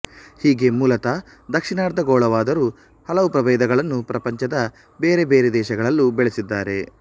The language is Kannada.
ಹೀಗೆ ಮೂಲತಃ ದಕ್ಷಿಣಾರ್ಧಗೋಳವಾದರೂ ಹಲವು ಪ್ರಭೇದಗಳನ್ನು ಪ್ರಪಂಚದ ಬೇರೆ ಬೇರೆ ದೇಶಗಳಲ್ಲೂ ಬೆಳೆಸಿದ್ದಾರೆ